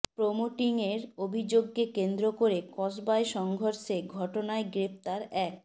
প্রোমোটিংয়ের অভিযোগকে কেন্দ্র করে কসবায় সংঘর্ষের ঘটনায় গ্রেফতার এক